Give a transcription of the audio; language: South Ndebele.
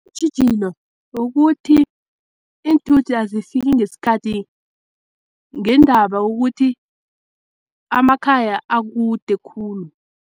Tjhijino ukuthi iinthuthi azifiki ngesikhathi, ngendaba yokuthi amakhaya akude khulu.